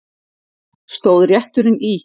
Stóð rétturinn í